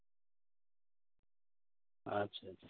আচ্ছা